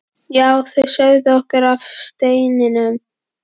Já, þau sögðu okkur af steininum.